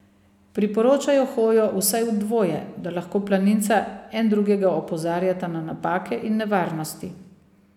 Priporočajo hojo vsaj v dvoje, da lahko planinca en drugega opozarjata na napake in nevarnosti.